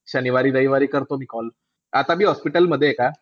शनिवारी-रविवारी करतो मी call. आता बी hospital मध्ये आहे का?